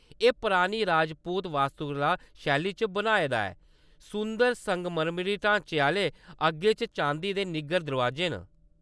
एह् परानी राजपूत वास्तुकला शैली च बनाए दा ऐ, सुंदर संगमरमरी ढांचे आह्‌ले आगे च चांदी दे निग्गर दरोआजे न।